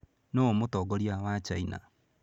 Nũũ mũtongoria wa China?